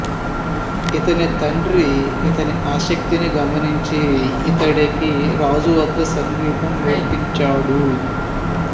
ఇతని తండ్రి ఇతని ఆసక్తిని గమనించి ఇతడికి రాజు వద్ద సంగీతం నేర్పించాడు